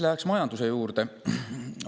Lähen majanduse juurde.